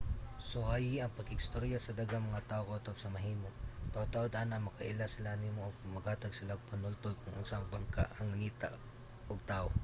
suwayi ang pakigstorya sa daghang mga tawo kutob sa mahimo. taud-taud ana makaila sila nimo ug maghatag sila og panultol kon unsa nga bangka ang nangita ug tawo